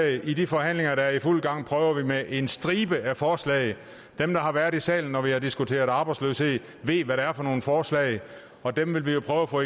i de forhandlinger der er i fuld gang prøver vi med en stribe af forslag dem der har været i salen når vi har diskuteret arbejdsløshed ved hvad det er for nogle forslag og dem vil vi jo prøve at få